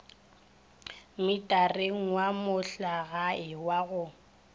mmitareng wa mohlagae wa go